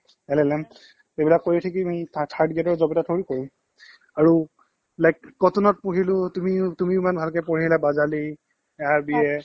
L এইবিলাক কৰি উঠি কি তুমি থা third grade ৰ job এটা thori কৰিম আৰু like কটনত পঢ়িলো তুমি তুমিও ইমান ভালকে বাজালী